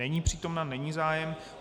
Není přítomna, není zájem.